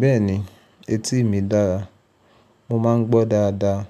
Bẹ́ẹ̀ni, etí mi dára, mo máa ń gbọ́ dáadáa.